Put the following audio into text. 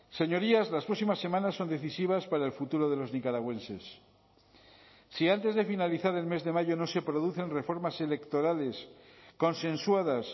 señorías las próximas semanas son decisivas para el futuro de los nicaragüenses si antes de finalizar el mes de mayo no se producen reformas electorales consensuadas